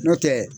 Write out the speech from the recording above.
N'o tɛ